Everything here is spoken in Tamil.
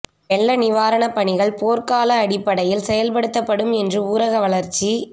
வெள்ள நிவாரணப் பணிகள் போா்க்கால அடிப்படையில் செயல்படுத்தப்படும் என்று ஊரக வளா்ச்சி